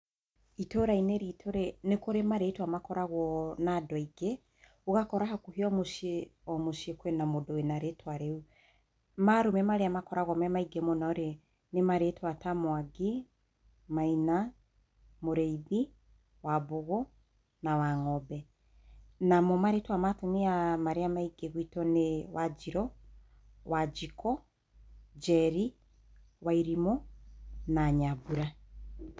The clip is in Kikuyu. Ĩtũrainĩ ritũ rĩ nĩkũrĩ marĩtwa makoragwo na andũ aingĩ, ũgakora hakuhĩ omũciĩ omũciĩ kwĩna mũndũ wĩna rĩtwa rĩu, ma arũme marĩa makoragwo me maingĩ mũno rĩ nĩ marĩtwa ta Mwangi, Maina, Mũrĩithi, Wambũgũ na Wang'ombe. Namo marĩtwa ma atumia marĩa maingĩ gwitũ nĩ Wanjirũ, Wanjikũ, Njeri, Wairimu na Nyambura.